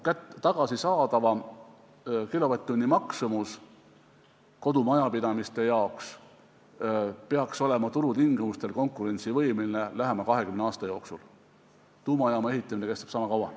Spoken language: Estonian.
Akudelt tagasisaadava kilovatt-tunni maksumus kodumajapidamiste jaoks peaks olema turutingimustel konkurentsivõimeline lähima kahekümne aasta jooksul, tuumajaama ehitamine kestab niisama kaua.